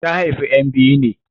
Ta haifi ƴan biyu ne.